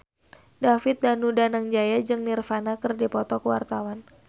David Danu Danangjaya jeung Nirvana keur dipoto ku wartawan